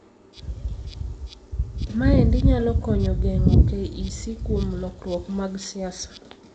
Maendi nyalo konyo geng'o KEC kuom lokruok mag siasa.